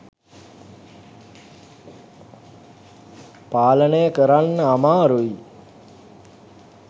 පාලනය කරන්න අමාරුයි.